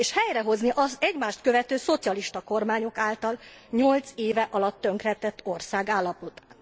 És helyrehozni az egymást követő szocialista kormányok által nyolc év alatt tönkretett ország állapotát.